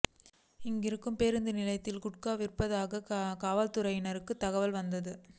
இங்கிருக்கும் பேருந்து நிலையத்தில் குட்கா விற்கப்படுவதாக காவல்துறையினருக்கு தகவல் வந்தது